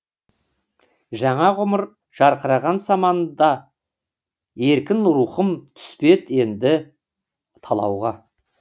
жаңа ғұмыр жарқыраған санамда еркін рухым түспес енді талауға